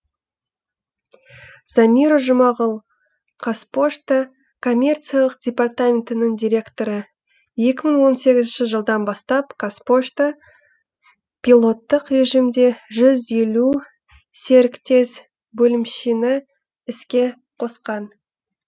замира жұмағұл қазпошта коммерциялық департаментінің директоры екі мың он сегізінші жылдан бастап қазпошта пилоттық режимде жүз елу серіктес бөлімшені іске қосқан